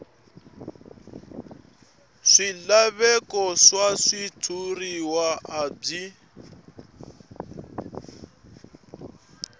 swilaveko swa switshuriwa a byi